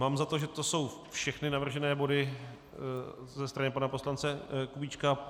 Mám za to, že to jsou všechny navržené body ze strany pana poslance Kubíčka.